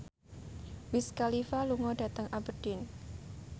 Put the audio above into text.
Wiz Khalifa lunga dhateng Aberdeen